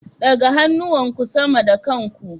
Ɗaga hannuwanku sama da kan ku.